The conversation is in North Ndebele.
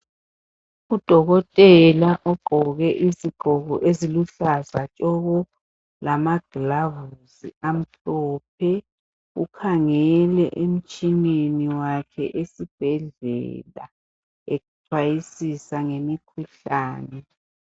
Udokotela ugqoke izigqoko eziluhlaza tshoko lamaglavusi amhlophe ukhangele emtshineni wakhe esibhedlela ecwayisisa ngemikhuhlane.